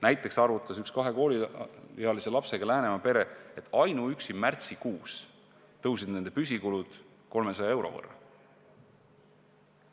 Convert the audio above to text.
Näiteks arvutas üks kahe kooliealise lapsega Läänemaa pere, et ainuüksi märtsikuus kasvasid nende püsikulud 300 euro võrra.